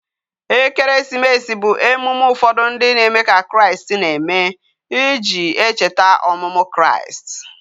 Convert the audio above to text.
Ekeresimesi bu emume ufodu ndi na eme ka kraist na eme, iji echeta omumu kraist